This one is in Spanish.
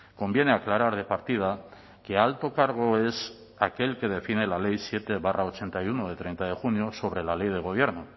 conviene aclarar de partida que alto cargo es aquel que define la ley siete barra ochenta y uno de treinta de junio sobre la ley de gobierno